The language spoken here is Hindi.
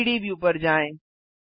3डी व्यू पर जाएँ